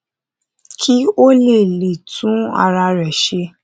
kí ó lè lè tún ara rẹ ṣe